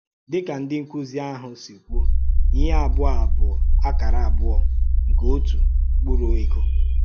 Dị́ka ndị ǹkúzí ahụ sì kwùo, “íhè àbụ̀ọ̀ a bụ̀ àkàrà àbụ̀ọ̀ nke òtù mkpúrù ègò.